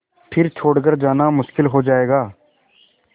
फिर छोड़ कर जाना मुश्किल हो जाएगा